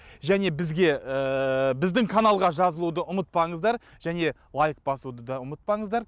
және бізге ііі біздің каналға жазылуды ұмытпаңыздар және лайк басуды да ұмытпаңыздар